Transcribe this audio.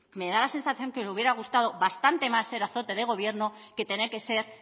me da la sensación que le hubiera gustado bastante más ser azote del gobierno que tener que ser